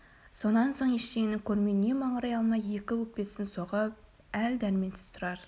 сонан соң ештеңені көрмей не маңырай алмай екі өкпесін соғып әл-дәрменсіз тұрар